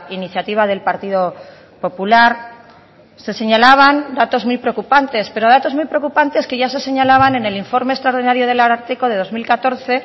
iniciativa del partido popular se señalaban datos muy preocupantes pero datos muy preocupantes que ya se señalaban en el informe extraordinario del ararteko de dos mil catorce